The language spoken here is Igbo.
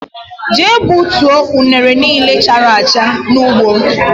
Jee gbutuo unere niile chárá acha n' ụgbọ!!